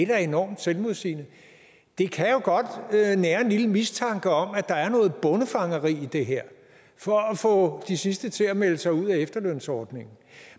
da enormt selvmodsigende det kan jo godt nære en lille mistanke om at der er noget bondefangeri i det her for at få de sidste til at melde sig ud af efterlønsordningen